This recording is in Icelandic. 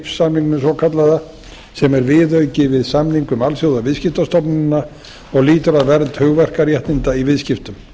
trips samningnum svokallaða sem er viðauki við samning um alþjóðaviðskiptastofnunina og lýtur að verð hugverkaréttinda í viðskiptum